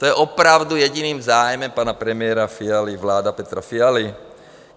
To je opravdu jediným zájmem pana premiéra Fialy vláda Petra Fialy?